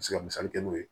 Me se misali kɛ n'o ye